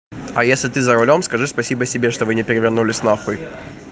а если ты за рулём скажи спасибо себе что вы не перевернулись нахуй